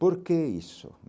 Por que isso?